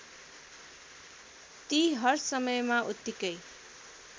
ती हरसमयमा उत्तिकै